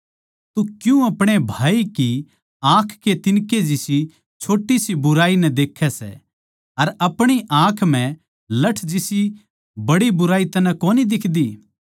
तू क्यूँ अपणे भाई की आँख कै तिन्कै जिसी छोटी सी बुराई नै देख्ये सै अर अपणी आँख म्ह लठ जिसी बड़ी बुराई तन्नै कोनी दिखदी